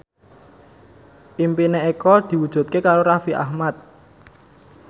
impine Eko diwujudke karo Raffi Ahmad